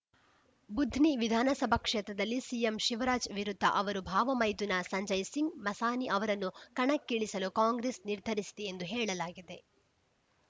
ಬುಧ್ನಿ ವಿಧಾನಸಭಾ ಕ್ಷೇತ್ರದಲ್ಲಿ ಸಿಎಂ ಶಿವರಾಜ್‌ ವಿರುದ್ಧ ಅವರ ಭಾವಮೈದುನ ಸಂಜಯ್‌ ಸಿಂಗ್‌ ಮಸಾನಿ ಅವರನ್ನು ಕಣಕ್ಕಿಳಿಸಲು ಕಾಂಗ್ರೆಸ್‌ ನಿರ್ಧರಿಸಿದೆ ಎಂದು ಹೇಳಲಾಗಿದೆ